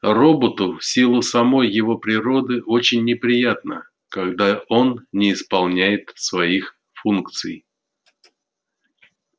роботу в силу самой его природы очень неприятно когда он не исполняет своих функций